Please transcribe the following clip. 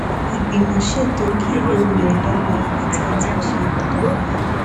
ìgbìmò ṣètò kí olùyòǹda mọ ibi tí a ti ń ṣe ìdárayá